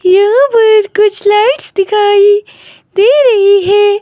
यहां पर कुछ लाइट्स दिखाई दे रही है।